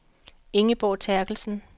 Ingeborg Terkelsen